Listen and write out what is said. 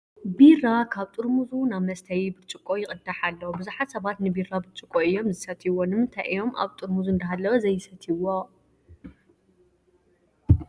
ቢራ ካብ ጠርሙዙ ናብ መስተዪ ብርጭቆ ይቕዳሕ ኣሎ፡፡ ብዙሓ ሰባት ንቢራ ብርጭቆ እዮም ዝሰትይዎ፡፡ ንምንታይ እዮም ኣብ ጠርሙዙ እንዳሃለወ ዘይሰትይዎ?